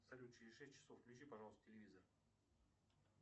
салют через шесть часов включи пожалуйста телевизор